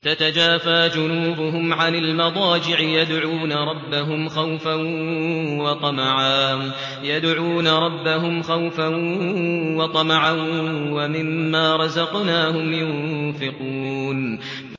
تَتَجَافَىٰ جُنُوبُهُمْ عَنِ الْمَضَاجِعِ يَدْعُونَ رَبَّهُمْ خَوْفًا وَطَمَعًا وَمِمَّا رَزَقْنَاهُمْ يُنفِقُونَ